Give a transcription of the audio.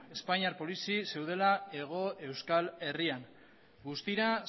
espainiar polizi zeudela hego euskal herrian guztira